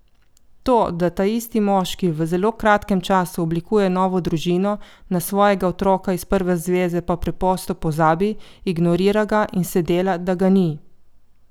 To, da taisti moški v zelo kratkem času oblikuje novo družino, na svojega otroka iz prve zveze pa preprosto pozabi, ignorira ga in se dela, da ga ni.